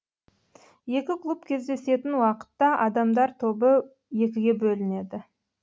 екі клуб кездесетін уақытта адамдар тобы екіге бөлінеді